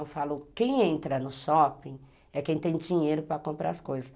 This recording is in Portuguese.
Eu falo, quem entra no shopping é quem tem dinheiro para comprar as coisas.